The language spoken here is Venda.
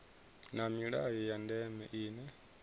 na milayo ya ndeme ine